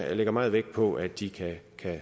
jeg lægger meget vægt på at de kan